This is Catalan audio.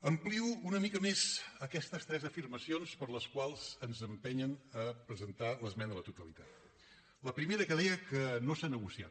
amplio una mica més aquestes tres afirmacions per les quals ens empenyen a presentar l’esmena a la totalitat la primera que deia que no s’ha negociat